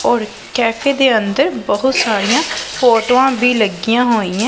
ਔਰ ਕੈਫੇ ਦੇ ਅੰਦਰ ਬਹੁਤ ਸਾਰੀਆਂ ਫ਼ੋਟੋਆਂ ਵੀ ਲੱਗਿਆਂ ਹੋਈਐਂ।